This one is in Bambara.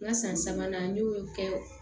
N ka san sabanan n y'o kɛ